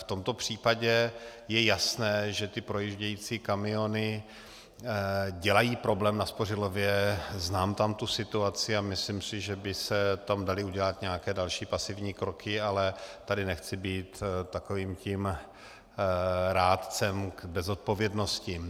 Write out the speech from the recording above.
V tomto případě je jasné, že ty projíždějící kamiony dělají problém na Spořilově, znám tam tu situaci a myslím si, že by se tam daly udělat nějaké další pasivní kroky, ale tady nechci být takovým tím rádcem bez zodpovědnosti.